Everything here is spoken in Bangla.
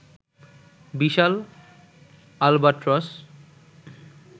বিশাল আলবাট্রস